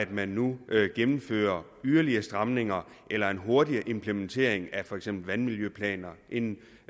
vi nu gennemfører yderligere stramninger eller en hurtigere implementering af for eksempel vandmiljøplaner end